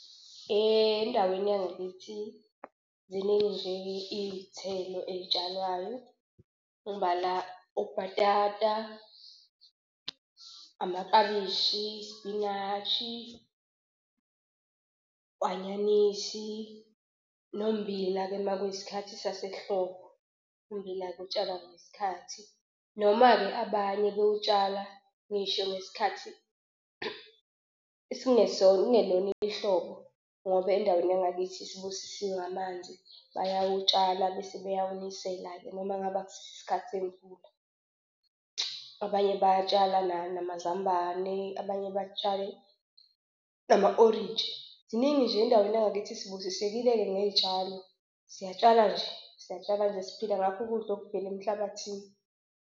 Endaweni yangakithi ziningi nje iy'thelo ey'tshalwayo, ngibala obhatata, amaklabishi, isipinashi, u-anyanisi, nommbila-ke uma kuyisikhathi sasehlobo, ummbila-ke utsalwa ngesikhathi. Noma-ke abanye bewutshala ngisho ngesikhathi esingesona, kungelona ihlobo ngoba endaweni yangakithi sibusisiwe ngamanzi bayawutshala bese bayawunisela-ke noma ngabe akusiso isikhathi semvula. Abanye bayatshala namazambane, abanye batshale nama-orenji. Ziningi nje endaweni yangakithi sibusisekile-ke ngey'tshalo. Siyatsala nje siyatsala nje siphila ngakho ukudla okuvela emhlabathini.